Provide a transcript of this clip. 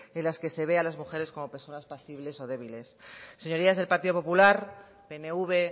en las que se ve a las mujeres como personas pasibles o débiles señorías del partido popular pnv